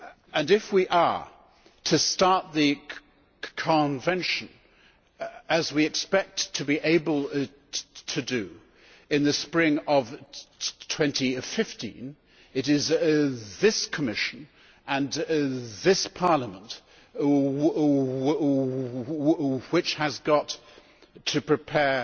And, if we are to start the Convention, as we expect to be able to do in the spring of 2015, it is this Commission and this Parliament which have got to prepare